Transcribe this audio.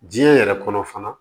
Diɲɛ yɛrɛ kɔnɔ fana